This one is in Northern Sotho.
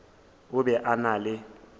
o be a na le